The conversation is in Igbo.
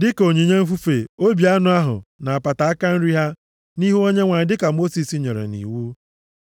dịka onyinye mfufe, obi anụ ahụ, na apata aka nri ha nʼihu Onyenwe anyị dịka Mosis nyere nʼiwu.